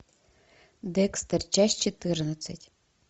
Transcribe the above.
декстер часть четырнадцать